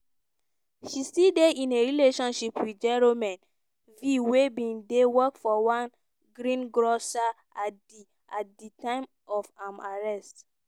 she still dey in a relationship with jérôme v wey bin dey work for one greengrocer at di at di time of im arrest.